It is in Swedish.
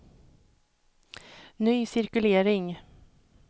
ny cirkulering